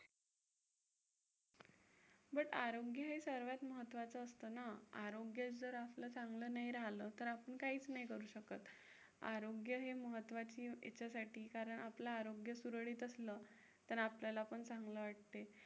but आरोग्य हे सर्वात महत्त्वाचं असतं ना. आरोग्यच जर आपलं चांगलं नाही राहिलं तर आपण काहीच नाही करू शकत. आरोग्य हे महत्त्वाचे हेच्यासाठी कारण आपलं आरोग्य सुरळीत असलं तर आपल्याला पण चांगलं वाटते.